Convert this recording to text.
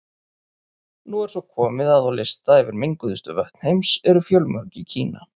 Nú er svo komið að á lista yfir menguðustu vötn heims eru fjölmörg í Kína.